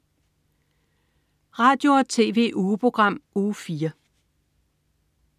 Radio- og TV-ugeprogram Uge 4